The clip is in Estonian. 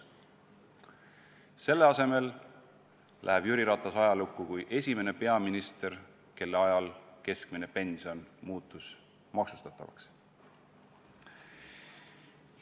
" Selle asemel läheb Jüri Ratas ajalukku kui esimene peaminister, kelle ajal keskmine pension muutus maksustatavaks.